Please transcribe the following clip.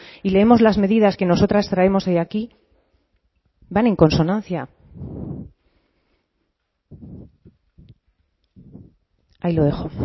y leemos las medidas que nosotras traemos hoy aquí van en consonancia ahí lo dejo